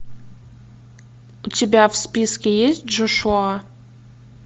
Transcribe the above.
у тебя в списке есть джошуа